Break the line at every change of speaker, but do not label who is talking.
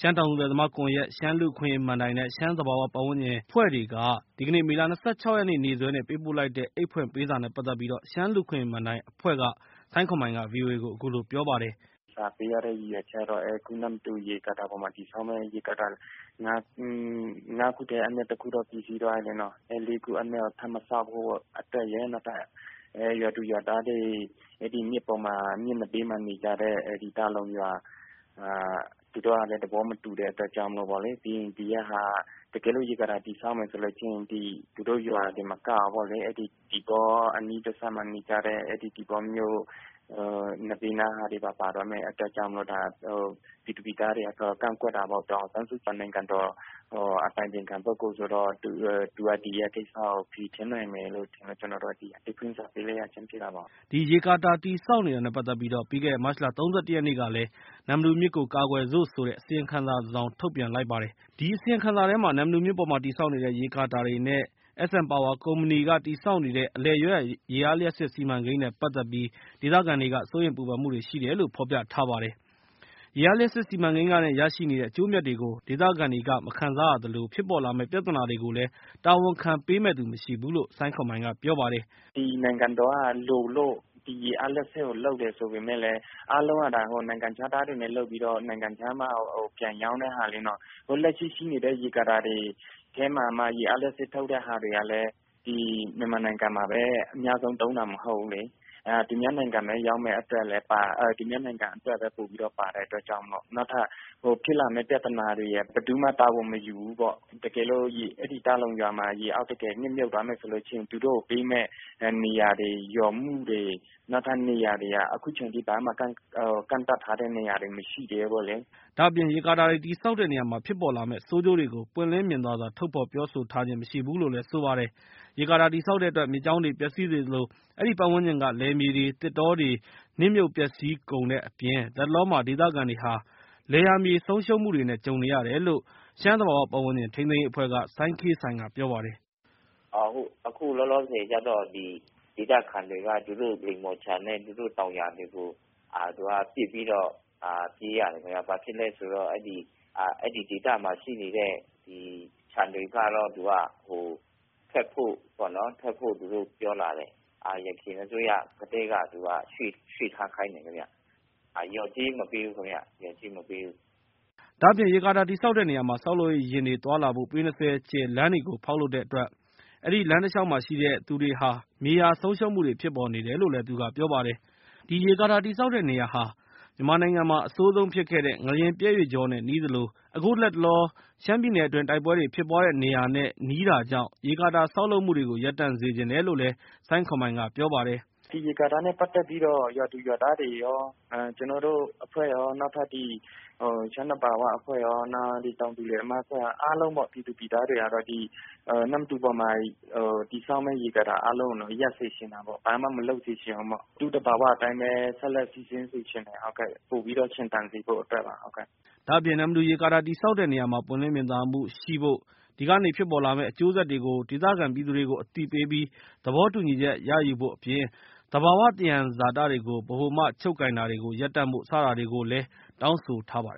ရှမ်းတောင်သူလယ်သမားကွန်ယက်၊ ရှမ်းလူ့အခွင့်အရေးမဏ္ဍိုင် နဲ့ ရှမ်းသဘာ၀ ပတ်ဝန်းကျင် အဖွဲ့တွေက ဒီကနေ့ မေလ၂၆ ရက်နေ့စွဲနဲ့ ပေးပို့လိုက်တဲ့ အိတ်ဖွင့်ပေးစာ နဲ့ ပတ်သက်ပြီး ရှမ်းလူ့အခွင့်အရေးမဏ္ဍိုင်အဖွဲ့က စိုင်းခွန်မိုင်က ဗွီအိုအေကို အခုလို ပြောပါတယ်။ "စာပ
ေးရတဲ့ရည်ရွယ်ချက်ကတော့ အခု နမ္မတူရေကာတာပေါ်မှာ ငါးခုထဲမှာ တခုက ပြီးစီးသွားပြီ။ လေးခု မဆောက်ဖို့အတွက်ရယ် နောက် ရွာသူရွာသားတွေ မြစ်နဘေး မှာနေကြတဲ့ ဒေသခံတွေက သဘောမတူတဲ့အတွက်ကြောင့်မို့လို့ပေါ့လေ တကယ်လို့ ဒီရေကာတာ တည်ဆောက်မယ်ဆိုရင် သူတို့ရွာတင်မကဘူးပေါ့လေ။ သီပေါမြို့ အနီးနားတဘက်မှာ နေကြတဲ့ သီပေါမြို့က ဘေးနားကပါ ပါသွားမယ့်အတွက် ပြည်သူပြည်သားတွေက ကန့်ကွက် တာပေါ့။ ဒေါ်အောင်ဆန်းစုကြည် က နိုင်ငံတော် အတိုင်ပင်ပုဂ္ဂိုလ်ဆိုတော့ သူက ဒီကကိစ္စကို ဖြေရှင်းနိုင်မယ် လို့ထင်လို့ ကျနော်တို့ အိတ်ဖွင့်စာပေး လိုက်ရခြင်းဖြစ်တာပေါ့
။" ဒီရေကာတာတည်ဆောက်တာနဲ့ ပတ်သက်ပြီး ပြီးခဲ့တဲ့ မတ်လ ၃၁ ရက်နေ့ကလည်း နမ္မတူမြစ်ကို ကာကွယ်စု့ိ ဆိုတဲ့ အစီရင်ခံစာ တစ်စောင် ထုတ်ပြန်လိုက်ပါတယ်။ အဲဒီအစီရင်ခံစာ မှာ နမ္မတူမြစ်ပေါ်တည်ဆောက်နေတဲ့ ရေကာတာတွေနဲ့ အလယ်ရဲရွာရေအား လျှပ်စစ်စီမံကိန်းနဲ့ ပတ်သက်ပြီး ဒေသခံတွေက စိုးရိမ်ပူပန်မှုတွေ ရှိနေတယ်လို့ ဖော်ပြထားပါတယ်။ ရေအားလျှပ်စစ်စီမံကိန်းကနေရရှိတဲ့ အကျိုးအမြတ်တွေကို အဲဒီမှာရှိတဲ့ ဒေသခံတွေ ဟာ မခံစားရသလို၊ ဖြစ်ပေါ်လာမယ့် ပြဿနာတွေကိုလည်း တာဝန်ခံပေးမယ့်သူ မရှိဘူးလို့ စိုင်းခွန်မိုင်ကပြောပါတယ်
။ " နိုင်ငံတော်က လိုလို့ ဒီရေအားလျှပ်စစ်ကို လုပ်တယ်ဆိုပေမဲ့လည်း အားလုံးက နိုင်ငံခြားသားတွေနဲ့ လုပ်ပြီးတော့ နိုင်ငံခြားမှာ ပြန်ရောင်းတာလေ။ လက်ရှိရှိနေတဲ့ရေကာတာတွေ လုပ်တဲ့ဟာမှာမှ ရေအားလျှပ်စစ် ထုတ်တဲ့ဟာတွေကလည်း မြန်မာနိုင်ငံမှာ အများဆုံး သုံးတာ မဟုတ်ဘူးလေ။ သူများနိုင်ငံပဲ သုံးမယ့်အတွက်လည်း ပါတယ်။ သူများနိုင်ငံအတွက်ပဲ ပိုပြီး ပါတဲ့အတွက်ကြောင့်မို့လို့ နောက်ဖြစ်လာမယ့် ပြဿနာတွေက ဘယ်သူမှ တာဝန်မယူဘူးပေါ့။ တကယ်လို့ တာလုံရွာမှာ ရေအောက်ကို တကယ်နှစ်မြုပ်သွားမယ်ဆိုလို့ရှိရင် သူတို့ကိုပေးမယ့် မြေယာလျော် မှုတွေ နောက်ထပ်နေရာတွေ က အခုအချိန်အထိ နောက်ထပ် ကန့်သတ်ထားမှုတွေ မရှိသေးဘူး။"
ရေကာတာတွေတည်ဆောက်တဲ့နေရာမှာဖြစ်ပေါ်လာမယ့် ဆိုးကျိုးတွေကို ပွင့်လင်းမြင်သာစွာ ထုတ်ဖော်ပြောဆိုထားခြင်း မရှိဘူးလို့လည်း ဆိုပါတယ်။ ရေကာတာတည်ဆောက်တဲ့အတွက် မြစ်ကြောင်းတွေပျက်စီးစေသလို၊ အဲဒီပတ်ဝန်းကျင်က လယ်မြေတွေ၊ သစ်တောတွေ၊ သက်ရှိတွေရေအောက် မှာ နှစ်မြုပ် ပျက်စီးကုန်စေတဲ့အပြင် လတ်တလော မှာ ဒေသခံတွေရဲ့ လယ်ယာမြေ ဆုံးရှုံးမှုတွေနဲ့ ကြုံနေရတယ်လို့ ရှမ်းသဘာဝပတ်ဝန်းကျင်ထိန်းသိမ်းရေးအဖွဲ့က စိုင်းခေးဆိုင်က ပြောပါတယ်
။ " အခုလောလောဆယ်ကတော့ ဒေသခံတွေက သူတို့ လိမ္မော်ခြံနဲ့ သူတို့တောင်ယာတွေကို ပစ်ပြီးတော့ ပြေးရတယ်ခင်ဗျ။ ဘာဖြစ်လို့လဲဆိုတော့ အဲ့ဒီ့ဒေသမှာ ရှိနေတဲ့ခြံတွေကတော့ ဖျက်ဖို့ သူတို့ပြောလာတယ်။ ယခင်အစိုးရကတည်းက ရွှေ့ထားခိုင်းတယ်ခင်ဗျ။ လျော်ကြေး မပေးဘူးခင်ဗျ။ လျော်ကြေး မပေးဘူး။
" ဒါ့အပြင် ရေကာတာတည်ဆောက်ရာမှာ ဆောက်လုပ်ရေးယာဉ်တွေသွားလာဖို့ ပေ ၂၀ ကျယ်လမ်းတွေဖောက်လုပ်တဲ့အတွက် ၊ အဲဒီလမ်းတလျှောက်မှာ ရှိတဲ့သူတွေဟာ မြေယာဆုံးရှုံးမှုတွေဖြစ်ပေါ်နေတယ်လို့ သူကပြောပါတယ်။ အဲဒီ ရေကာတာ တည်ဆောက်တဲ့နေရာဟာ မြန်မာနိုင်ငံမှာ အဆိုးဆုံးဖြစ်ခဲ့တဲ့ ငလျင်ပြတ်ရွေ့ကြော နဲ့ နီးသလို၊ အခုလတ်တလော ရှမ်းပြည်နယ်အတွင်း တိုက်ပွဲတွေဖြစ်ပွားတဲ့နေရာနားမှာ ဖြစ်တာကြောင့် ရေကာတာဆောက်လုပ်မှုတွေကို ရပ်တန့်စေချင်တယ်လို့ စိုင်းခွန်းမိုင်ကပြောပါတယ်။
"ဒီရေကာတာနဲ့ပတ်သက်ပြီးတော့ ရွာသူရွာသားတွေရော ကျနော်တို့အဖွဲ့ရော နောက်ထပ် ရှမ်းသဘာဝ အဖွဲ့ရော နောက် တောင်သူ လယ်သမား အဖွဲ့ရော အားလုံး ကတော့ ပြည်သူပြည်သားတွေ ကတော့ အဲ့ဒီ့နမ္မတူအပေါ်မှာ တည်ဆောက်မယ့်ရေကာတာအားလုံးကို ရပ်စေချင်တာပေါ့။ ဘာမှ မလုပ်စေချင်ဘူးပေါ့။ သူ့သဘာဝအတိုင်းပဲ ဆက်လက်စီးဆင်းစေချင်တယ်။ ပိုပြီးတော့ရှင်သန်စေဖို့အတွက်ပါ။"
ဒါ့အပြင် နမ္မတူရေကာတာတည်ဆောက်တဲ့နေရာမှာ ပွင့်လင်းမြင်သာမှုရှိဖို့၊ ဒီကနေဖြစ်ပေါ်လာမယ့် အကျိုးဆက်တွေကို ဒေသခံပြည်သူတွေကို အသိပေးပြီး ၊ သဘောတူညီချက် ရယူဖို့ အပြင် သဘာဝသယံဇာတတွေကို ဗဟိုမှချုပ်ကိုင်မှု ရပ်တန့်ဖို့ စတာတွေကိုလည်း တောင်းဆိုထားပါတယ်